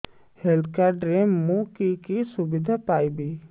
health card ରେ ମୁଁ କି କି ସୁବିଧା ପାଇବି